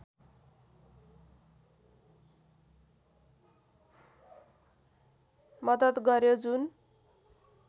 मदत गर्‍यो जुन